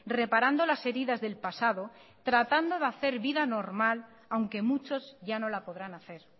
reparando las heridas del pasado tratando de hacer vida normal aunque muchos ya no la podrán hacer